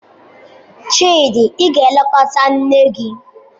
Chidi, ị ga-elekọta nne gi!